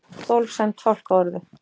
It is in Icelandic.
Tólf sæmd fálkaorðu